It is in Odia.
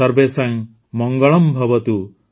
ସର୍ବେଷାଂ ମଙ୍ଗଳଂଭବତୁ